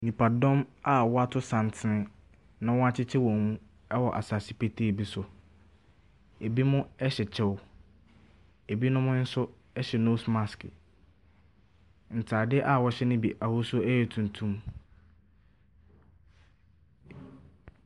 Nipadɔn a wɔato santene na wɔakyekyɛ wɔn mu wɔ asase petee bi so. Binom hyɛ kyɛ. Binom nso hyɛ nose mask. Ntadeɛ a wɔhyɛ no bi ahosuo yɛ tuntum.